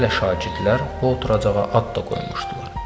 Hələ şagirdlər bu oturacağa ad da qoymuşdular.